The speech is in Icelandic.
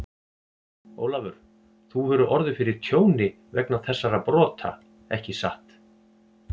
Ólafur, þú hefur orðið fyrir tjóni vegna þessara brota, ekki satt?